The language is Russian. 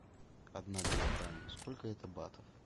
одна гуарани сколько это батов